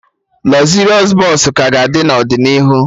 Lọzịrịọs Bọsụ ka ga-adị n'ọdịnihu